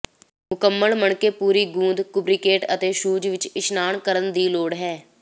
ਮੁਕੰਮਲ ਮਣਕੇ ਪੂਰੀ ਗੂੰਦ ਲੁਬਰੀਕੇਟ ਅਤੇ ਸ਼ੂਜ਼ ਵਿਚ ਇਸ਼ਨਾਨ ਕਰਨ ਦੀ ਲੋੜ ਹੈ